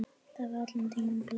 Það var allan tímann planið.